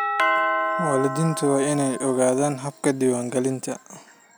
Waalidiintu waa inay ogaadaan habka diiwaangelinta.